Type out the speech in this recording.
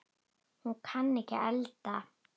Hún kann ekki að elda.